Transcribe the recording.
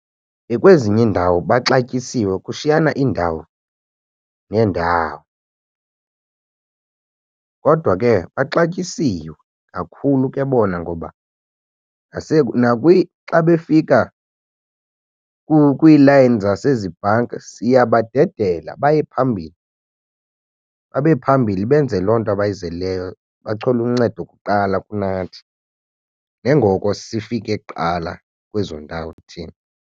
Kwezinye iindawo baxatyisiwe kushiyana iindawo neendawo. Kodwa ke baxatyisiwe kakhulu ke bona ngoba xa befika kwiilayini zasezi bhanki siyabadedela baye phambili, babe phambili benze loo nto abayizeleyo, bathole uncedo kuqala kunathi njengoko sifike kuqala kwezo ndawo thina.